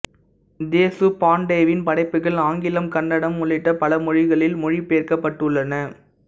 தேசுபாண்டேவின் படைப்புகள் ஆங்கிலம் கன்னடம் உள்ளிட்ட பல மொழிகளில் மொழி பெயர்க்கப்பட்டுள்ளன